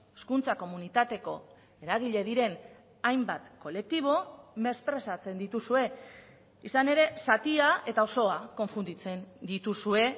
hezkuntza komunitateko eragile diren hainbat kolektibo mesprezatzen dituzue izan ere zatia eta osoa konfunditzen dituzue